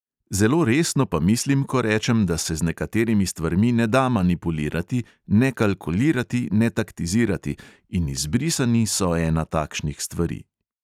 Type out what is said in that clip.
Zelo resno pa mislim, ko rečem, da se z nekaterimi stvarmi ne da manipulirati, ne kalkulirati, ne taktizirati, in izbrisani so ena takšnih stvari.